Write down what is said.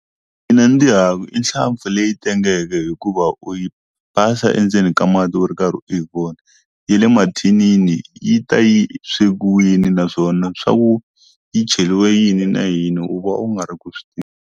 Mina ndzi i nhlampfi leyi tengeke hikuva u yi phasa endzeni ka mati u ri karhi u yi vona ya le mathinini yi ta yi swekiwini naswona swa ku yi cheliwe yini na yini u va u nga ri ku swi ti .